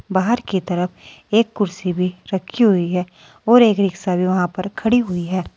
बाहर की तरफ एक कुर्सी भी रखी हुई है और एक रिक्शा वहाँ पर खड़ी हुई है।